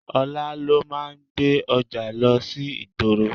Ọlá ló máa ń gbé ọjà lọ sí ìgboro.